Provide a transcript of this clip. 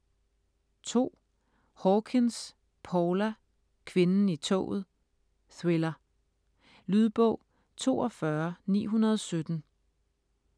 Hawkins, Paula: Kvinden i toget: thriller Lydbog 42917